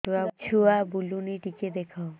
ଛୁଆ ବୁଲୁନି ଟିକେ ଦେଖ